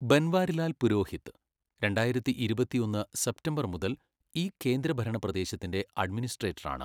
ബൻവാരിലാൽ പുരോഹിത് രണ്ടായിരത്തിഇരുപത്തിഒന്ന് സെപ്റ്റംബർ മുതൽ ഈ കേന്ദ്രഭരണ പ്രദേശത്തിന്റെ അഡ്മിനിസ്ട്രേറ്ററാണ്.